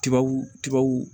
Tubabu tubabu